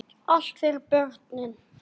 Allt fyrir börnin.